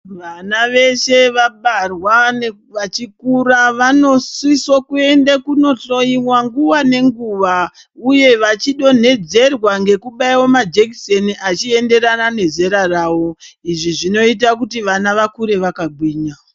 Vana veshe vabarwa vachikura vanosiso kuende kunohloyiwa nguwa nenguwa uye vachi donhedzerwa ngekubaiwa majekiseni achienderana nezera rayo, izvi zvinoite kuti vana vakure vakagwinya.